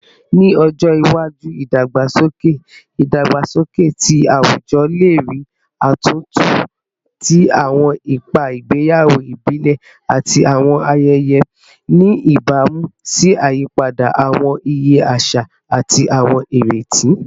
Ni ojo iwaju, idagbasoke idagbasoke ti awujọ le rii atuntu ti awọn ipa igbeyawo ibile ati awọn ayẹyẹ, ni ibamu si iyipada awọn iye aṣa ati awọn ireti